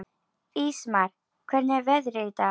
Ísmar, hvernig er veðrið í dag?